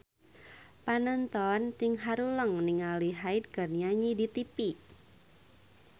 Panonton ting haruleng ningali Hyde keur nyanyi di tipi